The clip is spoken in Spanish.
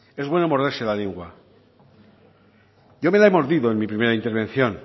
es bueno morderse la lengua yo me la he mordido en mi primera intervención